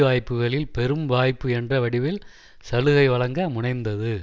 வாய்ப்புகளில் பெரும் வாய்ப்பு என்ற வடிவில் சலுகை வழங்க முனைந்தது